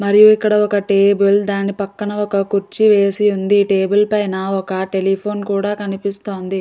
మరియు ఇక్కడ ఒక టేబుల్ దాని పక్కన ఒక కుర్చీ వేసి వుంది. టేబుల్ పైన ఒక టెలిఫోన్ కూడా కనిపిస్తోంది.